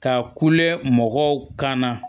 Ka kule mɔgɔw kan na